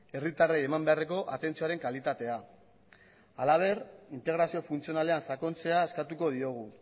herritarrei eman beharreko atentzioaren kalitatea halaber integrazio funtzionalean sakontzea eskatuko diogu